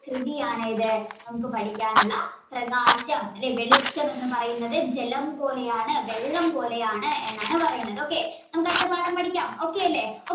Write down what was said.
കൃതിയാണ് ഏത് നമുക്ക് പഠിക്കാനുള്ള പ്രകാശം അല്ലേ വെളിച്ചമെന്ന് പറയുന്നത് ജലം പോലെയാണ് വെള്ളം പോലെയാണ് എന്നാണ് പറയുന്നത് okay നമുക്ക് അടുത്ത പാഠം പഠിക്കാം okay അല്ലേ